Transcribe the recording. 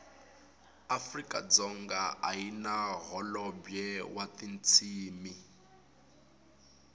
afrikadzonga ayina hholobwe watintshimi